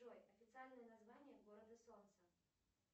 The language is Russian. джой официальное название города солнца